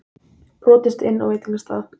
Brotist inn á veitingastað